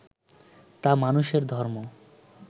তা মানুষের ধর্ম